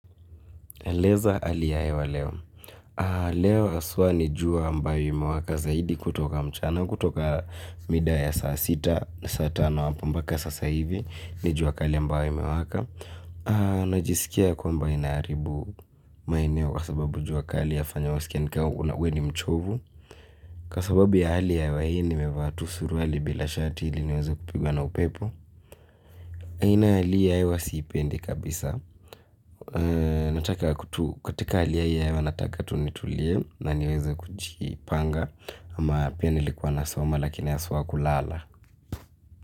Eleza hali ya hewa leo. Leo haswa ni jua ambayo imewaka zaidi kutoka mchana. Kutoka mida ya saa sita na saa tano hapa mbaka sasa hivi. Ni jua kali ambayo imewaka. Najisikia kwamba inaharibu maeneo kwa sababu jua kali yafanya wasikia ni kama we ni mchovu. Kwa sababu ya hali ya hewa hii nimevaa tu suruali bila shati ili niweza kupigwa na upepo. Aina ya hali hii ya hewa siipendi kabisa. Nataka katika hali hii ya hewa nataka tu nitulie na niweze kujipanga ama pia nilikuwa nasoma lakini haswa kulala.